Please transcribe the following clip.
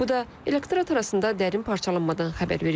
Bu da elektorat arasında dərin parçalanmadan xəbər verir.